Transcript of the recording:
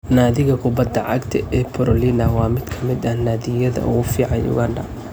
Naadiga kubbadda cagta ee Proline waa mid ka mid ah naadiyada ugu fiican Uganda.